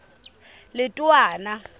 letowana